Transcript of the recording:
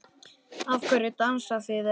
Af hverju dansið þið ekki?